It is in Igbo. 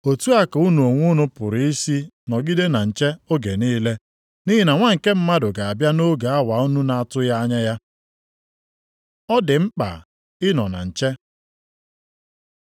Otu a ka unu onwe unu pụrụ isi nọgide na nche oge niile, nʼihi na Nwa nke Mmadụ ga-abịa nʼoge awa unu na-atụghị anya ya. Ọ dị mkpa ịnọ na nche